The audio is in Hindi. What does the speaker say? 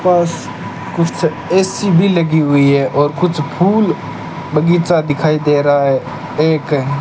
पास कुछ ए_सी भी लगी हुई है और कुछ फूल बगीचा दिखाई दे रहा है एक--